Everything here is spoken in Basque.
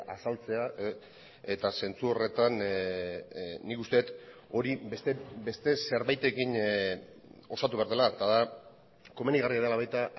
azaltzea eta zentzu horretan nik uste dut hori beste zerbaitekin osatu behar dela eta da komenigarria dela baita